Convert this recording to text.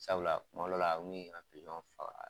Sabula kuma dɔw la n kun n ka